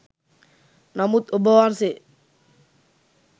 නමුත් ඔබවහන්සේ